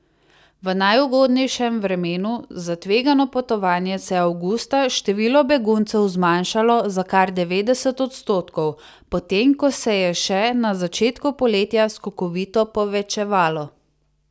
V najugodnejšem vremenu za tvegano potovanje se je avgusta število beguncev zmanjšalo za kar devetdeset odstotkov, potem ko se je še na začetku poletja skokovito povečevalo.